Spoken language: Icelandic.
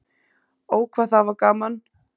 Ó, hvað það var gaman.